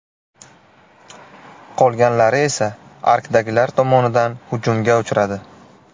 Qolganlari esa arkdagilar tomonidan hujumga uchradi.